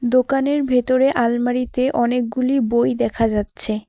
দোকানের ভেতরে আলমারিতে অনেকগুলি বই দেখা যাচ্ছে।